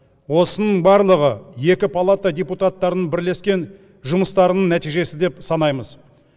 осының барлығы екі палата депутаттарының бірлескен жұмыстарының нәтижесі деп санаймыз